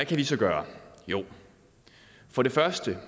vi så gøre jo for det første